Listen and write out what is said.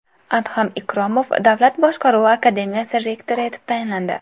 Adham Ikromov Davlat boshqaruvi akademiyasi rektori etib tayinlandi.